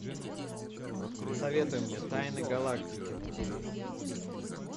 посоветуй мне тайны галактики на тв